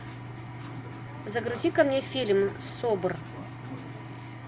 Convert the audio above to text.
загрузи ка мне фильм собр